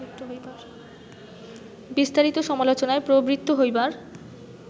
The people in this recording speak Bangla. বিস্তারিত সমালোচনায় প্রবৃত্ত হইবার